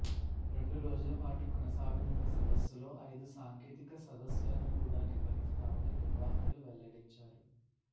రెండు రోజుల పాటు కొనసాగనున్న సదస్సులో ఐదు సాంకేతిక సదస్సులను కూడా నిర్వహిస్తామని నిర్వాహకులు వెల్లడించారు